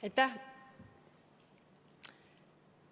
Aitäh!